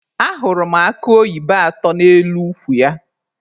Ahụrụ m akụ oyibo atọ n'elu ukwu ya.